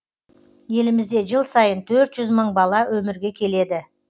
елімізде жыл сайын төрт жүз мың бала өмірге келеді